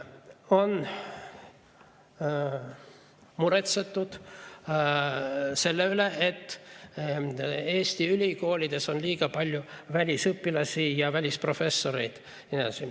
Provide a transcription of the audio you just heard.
On muretsetud selle pärast, et Eesti ülikoolides on liiga palju välisüliõpilasi ja välisprofessoreid.